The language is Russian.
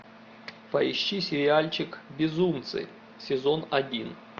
поищи сериальчик безумцы сезон один